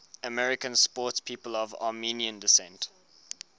american sportspeople of armenian descent